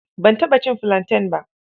Ban taɓa cin filanten ba.